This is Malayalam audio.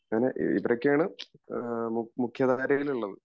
അങ്ങനെ ഇവരൊക്കെയാണ് മുഖ്യാധാരയിൽ ഉള്ളത്